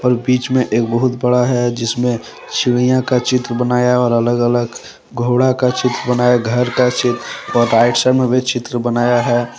बीच में एक बहुत बड़ा है जिसमें चिड़िया का चित्र बनाया और अलग अलग घोड़ा का चित्र बनाया घर का चित्र और राइट साइड में भी चित्र बनाया है।